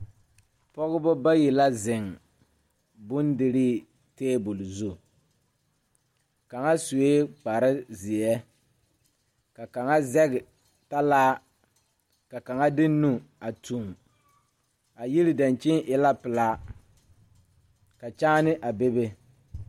Pɔgebɔ bayi la zeŋ bondirii tabol zu kaŋa suee kparezeɛ ka kaŋa zɛge talaa ka kaŋa de nu a tuŋ a yiri dankyini e la pelaa ka kyaane a bebe.